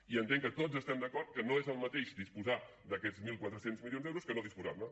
i entenc que tots estem d’acord que no és el mateix disposar d’aquests mil quatre cents milions d’euros que no disposar ne